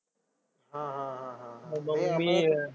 हा हा हा हा.